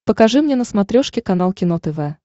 покажи мне на смотрешке канал кино тв